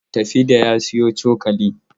Tafida ya sayo cokali.